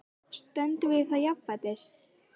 Stöndum við þá jafnfætis?